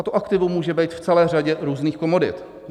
A to aktivum může být v celé řadě různých komodit.